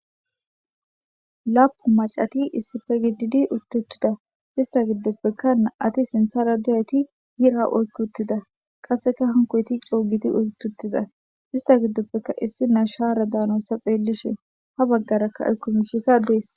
laapu macati issife gididi uttuttida ista giddoppekkaaati sintharadiyayti hira oykkuttida qasseka hankoyti coogiti uytutida ista giddoppeka issi na shaara daanosta xeellishe ha baggarakka elkumishika dees